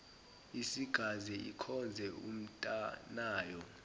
isingaze ikhonze umntanayo